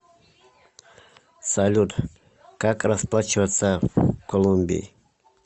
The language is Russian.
салют как расплачиваться в колумбии